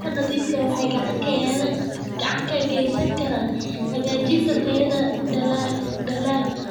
Biyaha nadiifka ah waxay gacan ka geysan karaan hagaajinta tayada dalagga.